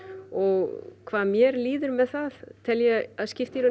og hvað mér líður með það tel ég að skipti í raun